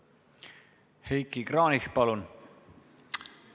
Heiki Kranich, palun!